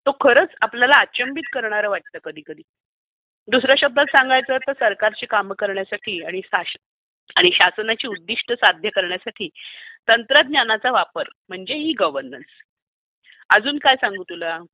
तो खरंच आपल्याला अचंबित करणारा वाटतं कधीकधी. दुसर् या शब्दात सांगायचं तर सरकारची कामं करण्यासाठी आणि शासनाची उद्दिष्ट साध्य करण्यासाठी तंत्रज्ञानाचा वापर म्हणजे ई गव्हर्नन्स. अजून काय सांगू तुला?